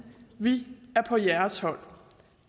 vi er på jeres hold